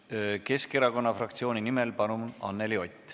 Keskerakonna fraktsiooni nimel, palun, Anneli Ott!